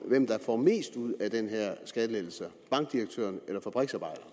hvem der får mest ud af de her skattelettelser bankdirektøren eller fabriksarbejderen